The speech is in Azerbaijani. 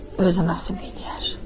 Özünə səbr eləyər.